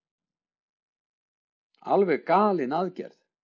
Alveg galin aðgerð